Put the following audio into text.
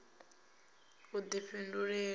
i na vhudifhinduleli ha u